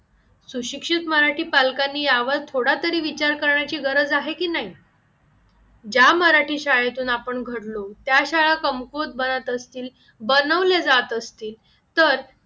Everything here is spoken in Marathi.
सुशिक्षित मराठी पालकांनी यावर थोडा तरी विचार करण्याची गरज आहे की नाही ज्या मराठी शाळेतून आपण घडलो त्या शाळा कमकुवत बनत असतील बनवले जात असतील तर त्या